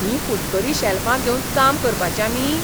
हीं फुटकरीं शेल्फां घेवन काम करपाचें आमी?